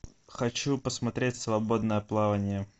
хочу посмотреть свободное плавание